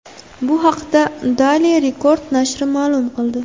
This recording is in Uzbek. Bu haqda Daily Record nashri ma’lum qildi .